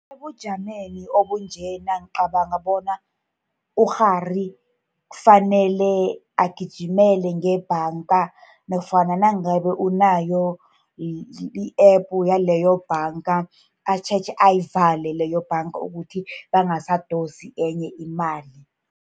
Ebujameni obunjena ngicabanga bona ukghari kufanele agijimele ngebhanga, nofana nangabe unayo i-App yaleyo bhanga, atjhetjhe ayivale leyobhanga, ukuthi bangasadosi enye imali.